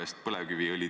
Eks ta nii on.